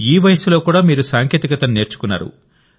ఈ వయస్సులో కూడామీరు సాంకేతికతను నేర్చుకున్నారు